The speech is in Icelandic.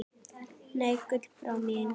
Nei, Gullbrá mín.